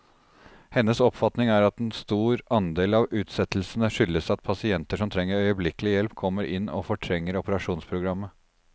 Hennes oppfatning er at en stor andel av utsettelsene skyldes at pasienter som trenger øyeblikkelig hjelp, kommer inn og fortrenger operasjonsprogrammet.